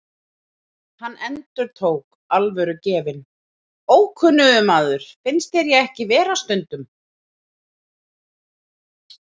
Hann endurtók, alvörugefinn: Ókunnugur maður, finnst þér ekki ég vera stundum?